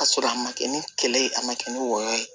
Ka sɔrɔ a ma kɛ ni kɛlɛ ye a ma kɛ ni wɔyɔ ye